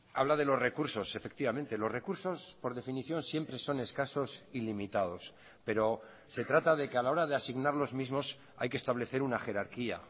habla de los recursos efectivamente los recursos por definición siempre son escasos y limitados pero se trata de que a la hora de asignar los mismos hay que establecer una jerarquía